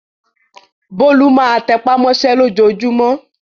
Bólú máa tẹ́pá mọ́ṣẹ́ lójoojúmọ́.